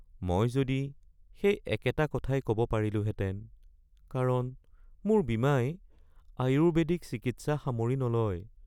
মই যদি সেই একেটা কথাই ক'ব পাৰিলোহেঁতেন কাৰণ মোৰ বীমাই আয়ুৰ্বেদিক চিকিৎসা সামৰি নলয়।